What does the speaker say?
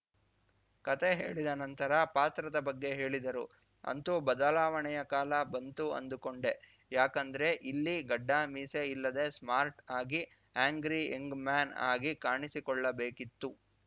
ಕತೆ ಹೇಳಿದ ನಂತರ ಪಾತ್ರದ ಬಗ್ಗೆ ಹೇಳಿದರು ಅಂತೂ ಬದಲಾವಣೆಯ ಕಾಲ ಬಂದು ಅಂದುಕೊಂಡೆ ಯಾಕಂದ್ರೆ ಇಲ್ಲಿ ಗಡ್ಡಮೀಸೆ ಇಲ್ಲದೆ ಸ್ಮಾರ್ಟ್‌ ಆಗಿ ಆ್ಯಂಗ್ರಿ ಯಂಗ್‌ ಮ್ಯಾನ್‌ ಆಗಿ ಕಾಣಿಸಿಕೊಳ್ಳಬೇಕಿತ್ತು